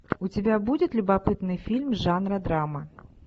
у тебя будет любопытный фильм жанра драма